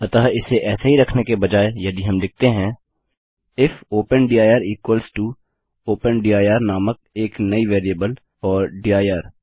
अतः इसे ऐसे ही रखने के बजाय यदि हम लिखते हैं if open dir equals to open dir नामक एक नई वेरिएबल और दिर